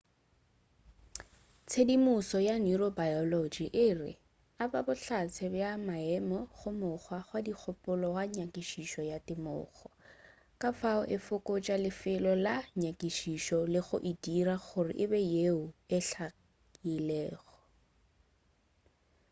tshedimušo ya neurobiology e aba bohlatse bja maemo go mokgwa wa dikgopolo go nyakišišo ya temogo ka fao e fokotša lefelo la nyakišišo le go e dira gore e be yeo e hlakilego